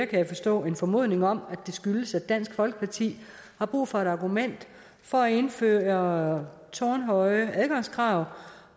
kan jeg forstå en formodning om at det skyldes at dansk folkeparti har brug for et argument for at indføre tårnhøje adgangskrav